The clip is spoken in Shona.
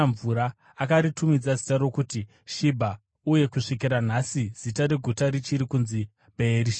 Akaritumidza zita rokuti Shibha, uye kusvikira nhasi zita reguta richiri kunzi Bheerishebha.